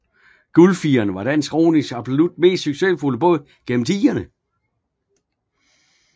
Guldfireren var dansk ronings absolut mest succesfulde båd gennem tiderne